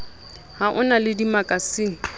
ha o na le dimakasine